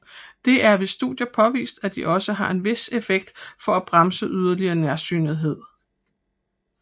Der er ved studier påvist at de også har en vis effekt for at bremse yderligere nærsynethed